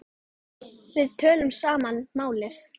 Við töluðum sama málið.